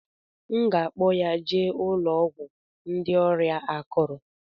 M ga-akpọ ya jee ụlọ ọgwụ ndị ọrịa akuru.